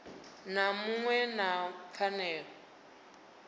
na muṅwe u na pfanelo